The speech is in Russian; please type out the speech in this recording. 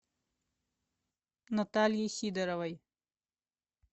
натальей сидоровой